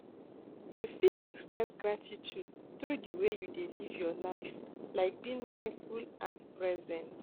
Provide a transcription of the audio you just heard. You fit express gratitude through di way you dey live your life, like being mindful and present.